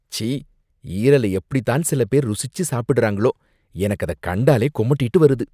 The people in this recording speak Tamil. ச்சீ, ஈரல எப்படிதான் சில பேர் ருசிச்சு சாப்பிடறாங்களோ, எனக்கு அத கண்டாலே குமட்டிட்டு வருது.